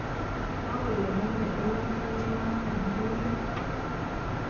Kokole name eun timit notok akoi let